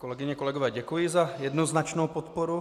Kolegyně, kolegové, děkuji za jednoznačnou podporu.